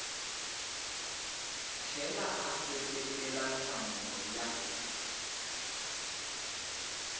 tlhela a seketela nhlamulo ya